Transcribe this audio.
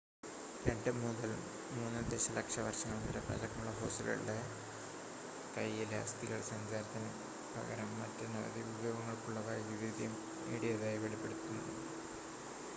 2 മുതൽ 3 ദശലക്ഷ വർഷങ്ങൾ വരെ പഴക്കമുള്ള ഫോസ്സിലുകളുടെ കയ്യിലെ അസ്ഥികൾ സഞ്ചാരത്തിന് പകരം മറ്റനവധി ഉപയോഗങ്ങൾക്കുള്ള വൈദഗ്ദ്ധ്യം നേടിയതായി വെളിപ്പെടുത്തുന്നു